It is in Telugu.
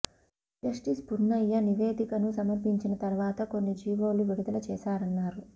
జస్టిస్ పున్నయ్య నివేదికను సమర్పించిన తర్వాత కొన్ని జీవోలు విడుదల చేశారన్నారు